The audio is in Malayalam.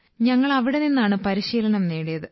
ഞങ്ങൾ അവിടെ നിന്നാണ് പരിശീലനം നേടിയത്